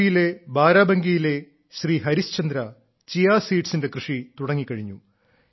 U പിയിലെ ബാരാബങ്കിയിലെ Shri Harishchandra chia സീഡ്സിന്റെ കൃഷി തുടങ്ങിക്കഴിഞ്ഞു